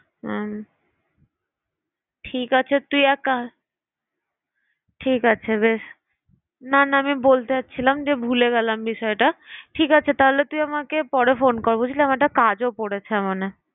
হুম ঠিক আছে তুই এক কা~ ঠিক আছে বেশ না না আমি বলতে চাচ্ছিলাম যে ভুলে গেলাম বিষয়টা। ঠিক আছে তাহলে তুই আমাকে পরে phone কর বুঝলি আমার একটা কাজও পড়েছে মানে।